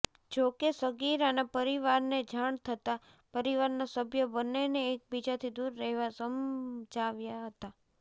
જોકે સગીરાના પરિવારને જાણ થતા પરિવારના સભ્ય બંનેને એકબીજાથી દૂર રહેવા સમજાવ્યા હતા